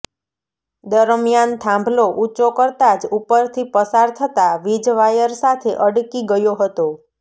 દરમિયાન થાંભલો ઉંચો કરતાં જ ઉપરથી પસાર થતાં વીજવાયર સાથે અડકી ગયો હતો